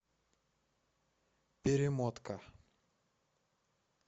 перемотка